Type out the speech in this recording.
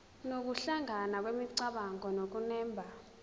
nokuhlangana kwemicabango nokunemba